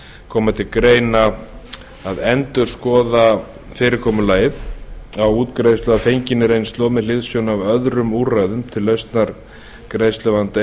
koma til greina að endurskoða fyrirkomulag útgreiðslu að fenginni reynslu og með hliðsjón af öðrum úrræðum til lausnar greiðsluvanda